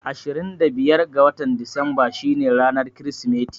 Ashirin da biyar ga watan Disamba shi ne ranar Kirismeti